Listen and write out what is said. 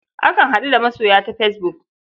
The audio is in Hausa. Akan haɗu da masoya ta fesbuk.